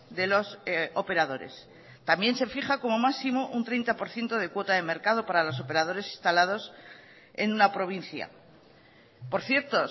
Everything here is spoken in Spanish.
de los operadores también se fija como máximo un treinta por ciento de cuota de mercado para los operadores instalados en una provincia por cierto